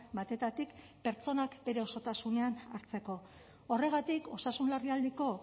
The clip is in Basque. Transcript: batetatik pertsonak bere osotasunean hartzeko horregatik osasun larrialdiko